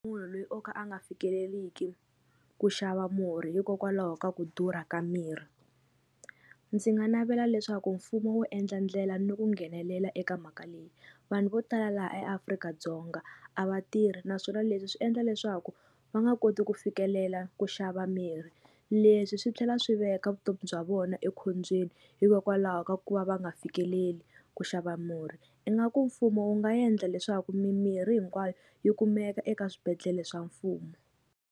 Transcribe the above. Munhu loyi o ka a nga fikeleliki ku xava murhi hikokwalaho ka ku durha ka mirhi ndzi nga navela leswaku mfumo wu endla ndlela ni ku nghenelela eka mhaka leyi vanhu vo tala laha eAfrika-Dzonga a va tirhi naswona leswi swi endla leswaku va nga koti ku fikelela ku xava mirhi leswi swi tlhela swi veka vutomi bya vona ekhombyeni hikokwalaho ka ku va va nga fikeleli ku xava murhi ingaku mfumo wu nga endla leswaku mimirhi hinkwayo yi kumeka eka swibedhlele swa mfumo.